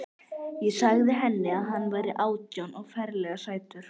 Ég sagði henni að hann væri átján og ferlega sætur.